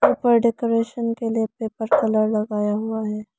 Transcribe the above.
ऊपर डेकोरेशन के लिए पेपर कलर लगाया हुआ है।